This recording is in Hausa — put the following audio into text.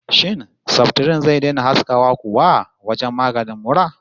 Shin saftirin zai daina haskawa kuwa wajen maganin mura?